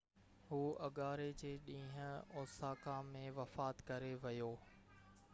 هُو اڱاري جي ڏينهن اوساڪا ۾ وفات ڪري ويو